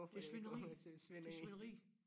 Det svineri det svineri